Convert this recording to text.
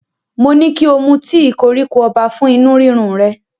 Mo ní kí o mu tíì koríko ọba fún inú rírun rẹ,